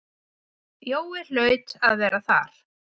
Jói hlaut að vera þar.